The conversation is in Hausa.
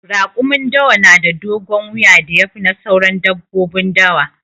Raƙumin dawa na da dogon wuya da ya fi na sauran dabbobin dawa.